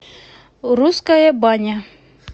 русская баня